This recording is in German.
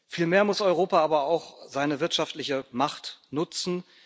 Vielmehr muss Europa aber auch seine wirtschaftliche Macht nutzen.